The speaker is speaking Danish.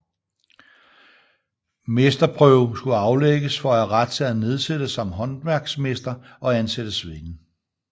Mesterprøve skulle aflægges for at have ret til at nedsætte sig som håndværksmester og ansætte svende